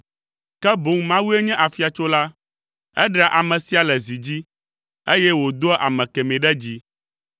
ke boŋ Mawue nye afiatsola, eɖea ame sia le zi dzi, eye wòdoa ame kemɛ ɖe dzi.